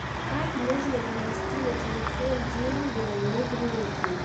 как можно перевести на телефон деньги моему другу